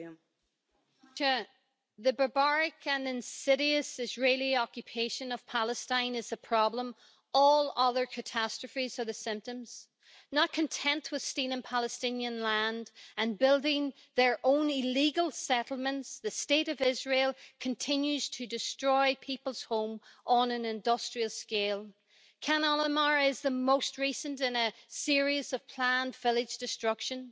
Mr President, the barbaric and insidious Israeli occupation of Palestine is the problem. All other catastrophes are the symptoms. Not content with stealing Palestinian land and building their own illegal settlements, the State of Israel continues to destroy people's homes on an industrial scale. Khan al-Ahmar is the most recent in a series of planned village destruction.